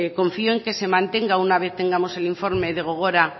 confío en que se mantenga una vez tengamos el informe de gogora